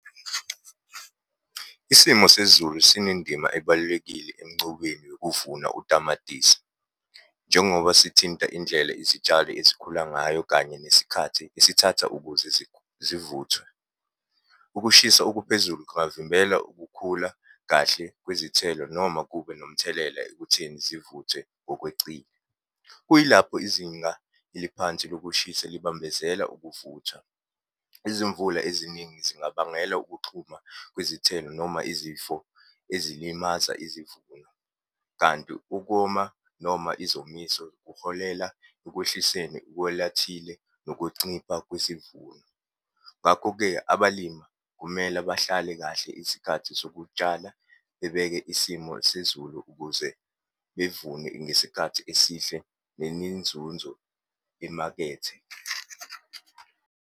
Isimo sezulu sinendima ebalulekile encubeni yokuvuna utamatisi, njengoba sithinta indlela izitshalo ezikhula ngayo kanye nesikhathi esithatha ukuze zivuthwe. Ukushisa okuphezulu kungavimbela ukukhula kahle kwizithelo noma kube nomthelela ekutheni zivuthwe ngokwecile. Kuyilapho izinga eliphansi lokushisa libambezela ukuvuthwa. Izimvula eziningi zingabangela ukuxhuma kwezithelo noma izifo ezilimaza izivuno, kanti ukoma noma izomiso kuholela ekwehliseni ukwelathile nokuncipha kwesivuno. Ngakho-ke, abalima kumele bahlale kahle isikhathi sokutshala, bebeke isimo sezulu ukuze bevune ngesikhathi esihle neminzunzo emakethe.